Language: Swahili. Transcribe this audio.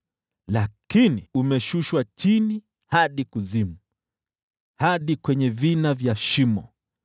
Lakini umeshushwa chini hadi kuzimu, hadi kwenye vina vya shimo.